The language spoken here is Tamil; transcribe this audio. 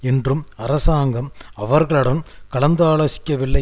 என்றும் அரசாங்கம் அவர்களுடன் கலந்தாலோசிக்கவில்லை